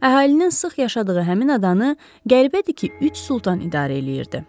Əhalinin sıx yaşadığı həmin adanı qəribədir ki, üç Sultan idarə eləyirdi.